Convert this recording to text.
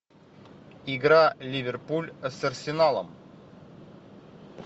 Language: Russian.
игра ливерпуль с арсеналом